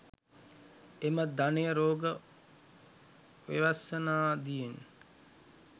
එම ධනය රෝග ව්‍යසනාදියෙන්